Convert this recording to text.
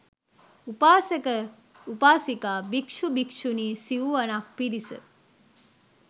උපාසක උපාසිකා භික්ෂු භික්ෂුණී සිව්වනක් පිරිස